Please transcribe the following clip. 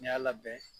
N'i y'a labɛn